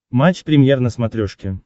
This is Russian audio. матч премьер на смотрешке